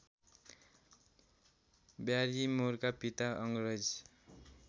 ब्यारिमोरका पिता अङ्ग्रेज